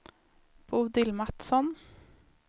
Bodil Matsson